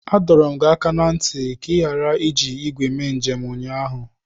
Adọọrọ m gị aka na ntị ka ị ghara iji igwe mee njem ụnyaahụ!